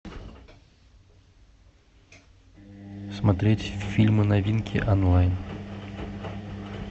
смотреть фильмы новинки онлайн